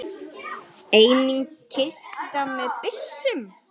Einnig kista með byssum.